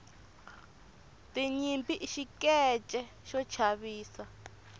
tinyimpi i xikeche xo chavisa